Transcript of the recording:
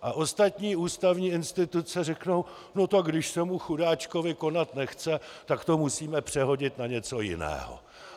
A ostatní ústavní instituce řeknou: No tak když se mu chudáčkovi konat nechce, tak to musíme přehodit na něco jiného.